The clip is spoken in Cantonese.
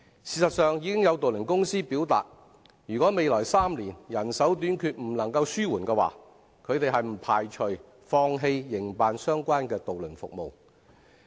事實上，有渡輪公司已表明，如果未來3年人手短缺問題未能紓緩，將不排除放棄營辦相關的渡輪服務。